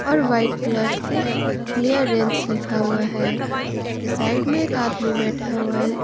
और white colour से clearance लिखा हुआ है उसके साइड में एक आदमी बैठा हुआ--